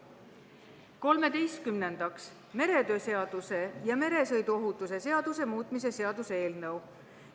Kolmeteistkümnendaks, meretöö seaduse ja meresõiduohutuse seaduse muutmise seaduse eelnõu.